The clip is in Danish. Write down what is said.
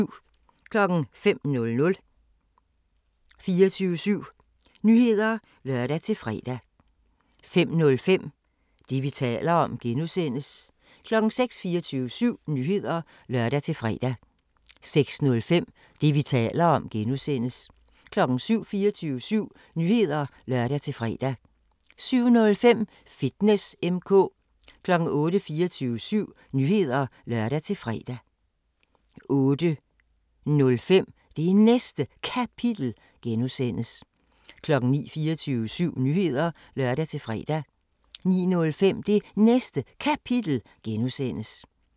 05:00: 24syv Nyheder (lør-fre) 05:05: Det, vi taler om (G) 06:00: 24syv Nyheder (lør-fre) 06:05: Det, vi taler om (G) 07:00: 24syv Nyheder (lør-fre) 07:05: Fitness M/K 08:00: 24syv Nyheder (lør-fre) 08:05: Det Næste Kapitel (G) 09:00: 24syv Nyheder (lør-fre) 09:05: Det Næste Kapitel (G)